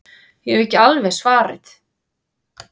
Ég hef ekki alveg svarið.